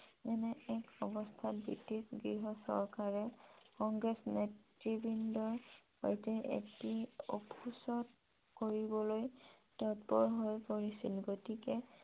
এনে এক অৱস্থাত ব্ৰিটিছ গৃহ চৰকাৰে কংগ্ৰেছৰ নেতৃবৃন্দৰ সৈতে এটি কৰিবলৈ ততপৰ হৈ পৰিছিল । গতিকে